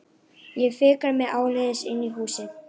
Ég fikra mig áleiðis inn í húsið.